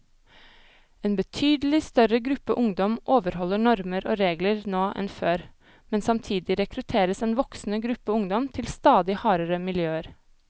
En betydelig større gruppe ungdom overholder normer og regler nå enn før, men samtidig rekrutteres en voksende gruppe ungdom til stadig hardere miljøer.